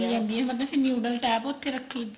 ਚਲੀ ਜਾਂਦੀ ਏ ਮਤਲਬ ਫ਼ਿਰ noodle type ਉੱਥੇ ਰੱਖੀ